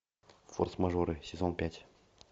форс мажоры сезон пять